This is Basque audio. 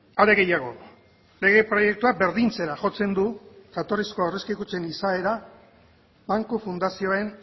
are gehiago lege proiektua berdintzera jotzen du jatorrizko aurrezki kutxen izaera banku fundazioen